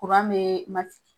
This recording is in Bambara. be kɛ.